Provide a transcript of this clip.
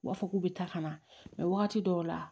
U b'a fɔ k'u bɛ taa ka na wagati dɔw la